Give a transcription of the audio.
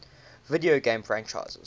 video game franchises